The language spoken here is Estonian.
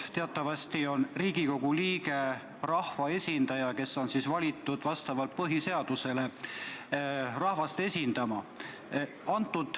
Teatavasti on Riigikogu liige rahvaesindaja, kes on valitud vastavalt põhiseadusele rahvast esindama.